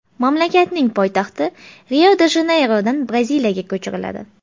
Mamlakatning poytaxti Rio-de-Janeyrodan Braziliyaga ko‘chiriladi.